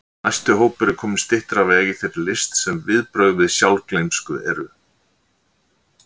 Næsti hópur er kominn styttra á veg í þeirri list sem viðbrögð við sjálfgleymsku eru.